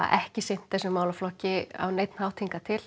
ekki sinnt þessum málaflokki á neinn hátt hingað til